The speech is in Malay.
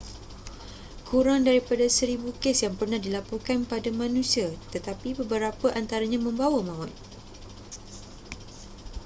kurang daripada seribu kes yang pernah dilaporkan pada manusia tetapi beberapa antaranya membawa maut